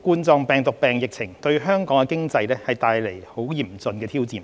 冠狀病毒病疫情對香港的經濟帶來極其嚴峻的挑戰。